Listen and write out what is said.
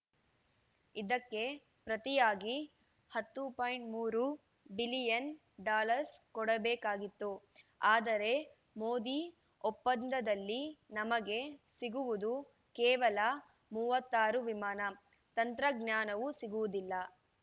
ಇದಕ್ಕೆ ಪ್ರತಿಯಾಗಿ ಹತ್ತು ಪಾಯಿಂಟ್ ಮೂರು ಬಿಲಿಯನ್‌ ಡಾಲರ್‌ ಕೊಡಬೇಕಾಗಿತ್ತು ಆದರೆ ಮೋದಿ ಒಪ್ಪಂದದಲ್ಲಿ ನಮಗೆ ಸಿಗುವುದು ಕೇವಲ ಮೂವತ್ತ್ ಆರು ವಿಮಾನ ತಂತ್ರಜ್ಞಾನವೂ ಸಿಗುವುದಿಲ್ಲ